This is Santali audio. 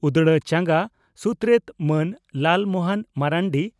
ᱩᱫᱽᱲᱟ ᱪᱟᱸᱜᱟ ᱥᱩᱛᱨᱮᱛ ᱢᱟᱱ ᱞᱟᱞ ᱢᱚᱦᱚᱱ ᱢᱟᱨᱱᱰᱤ